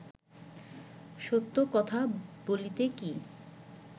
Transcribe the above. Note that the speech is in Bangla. সত্য কথা বলিতে কি